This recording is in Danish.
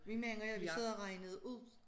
Vi mand og jeg vi sad og regnede ud